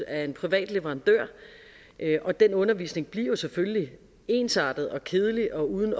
af en privat leverandør og den undervisning bliver jo selvfølgelig ensartet kedelig og uden